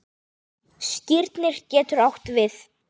Skírnir getur átt við